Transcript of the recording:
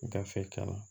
Gafe kama